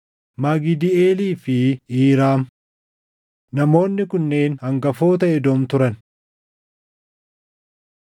Magidiiʼeelii fi Iiraam. Namoonni kunneen hangafoota Edoom turan.